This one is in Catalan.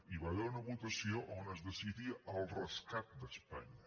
i hi va haver una votació on es decidia el rescat d’espanya